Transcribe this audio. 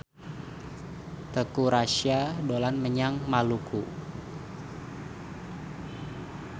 Teuku Rassya dolan menyang Maluku